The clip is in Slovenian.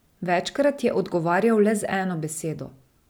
Večkrat je odgovarjal le z eno besedo.